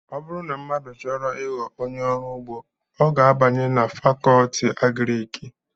ọ bụrụ na mmadụ chọrọ ịghọ onye ọrụ ugbo ọ ga abanye na Fakọọti Agrịki